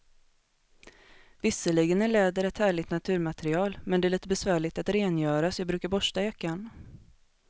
Visserligen är läder ett härligt naturmaterial, men det är lite besvärligt att rengöra, så jag brukar borsta jackan.